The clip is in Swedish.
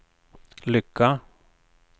lycka